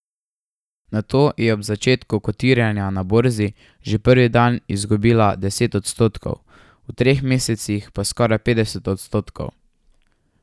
Nato je ob začetku kotiranja na borzi že prvi dan izgubila deset odstotkov, v treh mesecih pa skoraj petdeset odstotkov.